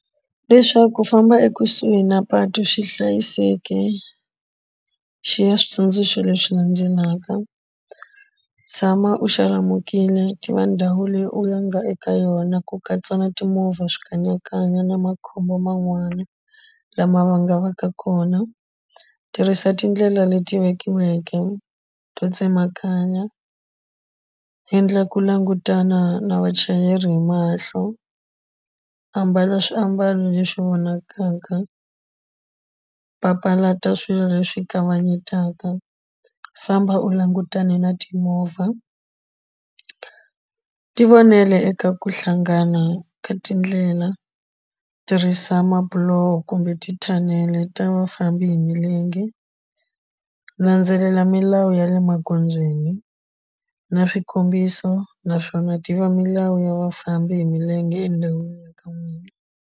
Leswaku ku famba ekusuhi na patu swi hlayiseki xi ya switsundzuxo leswi landzelaka tshama u xalamukile ti va ndhawu leyi u ya nga eka yona ku katsa na timovha swikanyakanya na makhombo man'wana lama nga vaka kona tirhisa tindlela leti vekiweke to tsemakanya endla ku langutana na vachayeri hi mahlo ambala swiambalo leswi vonakaka papalata swilo leswi kavanyetaka famba u langutane na timovha ti vonela eka ku hlangana ka tindlela tirhisa mabuloho kumbe tithanele ta vafambi hi milenge landzelela milawu ya le magondzweni na swikombiso naswona ti va milawu ya vafambi hi milenge endhawini ya ka n'wina.